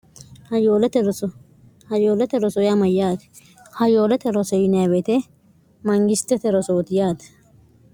hayoolete rosoye amayyaate hayoolote rosoyineewete manyistete rosooti yaate